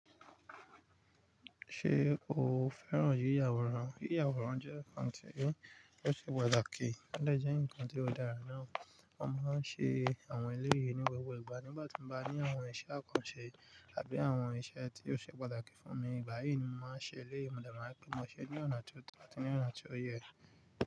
Ṣé o fẹ́ràn yí yàwòrán? Yí yàwòrán jẹ́ nǹkan tí ó ṣe pàtàkì, ó dè jẹ́ nǹkan tí ó dára náà. A máa ń ṣe àwọn eléyi ní gbogbo ìgbà. Nígbà tí mo bá ní àwọn iṣẹ́ àkànṣe àbí àwọn iṣẹ́ tí ó ṣe pàtàkì fún mi, ìgbà yí ni mo máa ń ṣe eléyi, mo de ma n tun mo ṣe ní ọ̀nà tó tọ́, ati ní ọ̀nà tí ó yẹ.